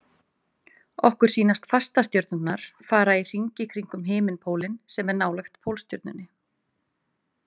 Okkur sýnast fastastjörnurnar fara í hringi kringum himinpólinn sem er nálægt Pólstjörnunni.